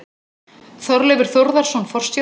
Þorleifur Þórðarson forstjóri.